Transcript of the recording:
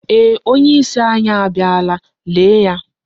eeh, onyeisi anyị abịala lee ya.